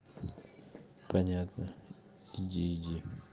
понятно иди иди